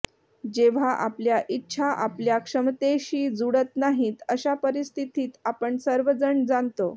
जेव्हा आपल्या इच्छा आपल्या क्षमतेशी जुळत नाहीत अशा परिस्थितीत आपण सर्वजण जाणतो